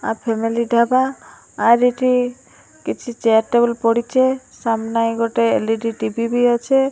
ଆ family ଟା ପା ଆର୍ ଏଠି କିଛି ଚେୟାର ଟେବୁଲ୍ ପଡ଼ିଚେ ସାମ୍ନା ଏ ଗୋଟେ ଏଲ୍_ଇ_ଡି ବି ଅଛେ।